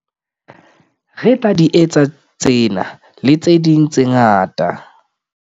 Re tla di etsa tsena, le tse ding tse ngata.